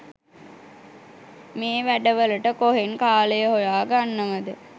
මේ වැඩ වලට කොහෙන් කාලය හොයා ගන්නවද